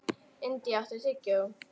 India, áttu tyggjó?